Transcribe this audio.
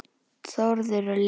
Þórður og Lilja.